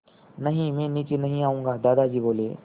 नहीं मैं नीचे नहीं आऊँगा दादाजी बोले